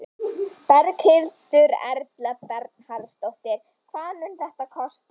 Berghildur Erla Bernharðsdóttir: Hvað mun þetta kosta?